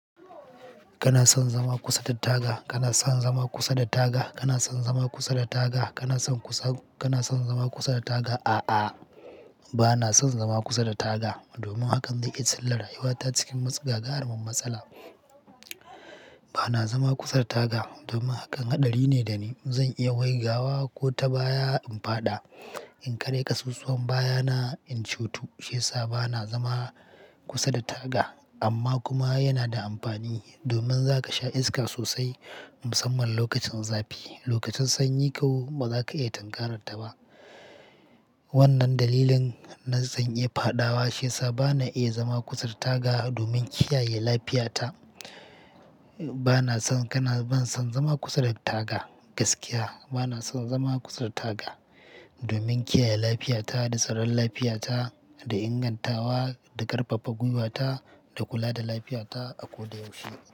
Kana son zama kusa da taga? Kana son zama kusa da taga? Kana son zama kusa da taga? Kana son zama kusa da taga? A'a, bana son zama kusa da taga domin hakan zai iya cilla rayuwata cikin wata gagaru mun matsala. Bana zama kusa da taga domin hakan haɗari ne dani. Zan iya waigawa ko ta baya in faɗa. In karya ƙasossowan baya na in cutu. Shiyasa bana zama kusa da taga amma kuma yana da amfani domin zaka sha iska sosai musamman lokacin zafi. Lokacin sanyi kau bazaka iya tanƙarar ta ba. Wannan dalilin na zan iya fadawa shiyasa bana iya zama kusa da taga domin kiyaye lafiyata. Bana son, kana, ban son zama kusa da taga gaskiya. Bana son zama kusa da taga domin kiyaye lafiyata da tsaron lafiyata da ingantawa da ƙarfafa gwiwata da kula da lafiyata a koda yaushe.